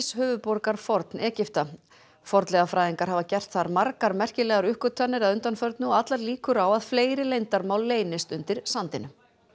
höfuðborgar Forn Egypta Memfis fornleifafræðingar hafa gert þar margar merkilegar uppgötvanir að undanförnu og allar líkur á að fleiri leyndarmál leynist undir sandinum